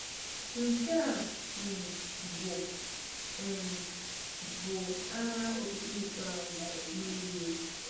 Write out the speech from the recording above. Nke a um bụ um bụ agha okpukpe ikpeazụ n’Europe.